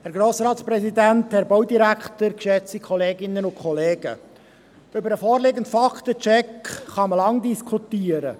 Über den vorliegenden Faktencheck kann man lange diskutieren.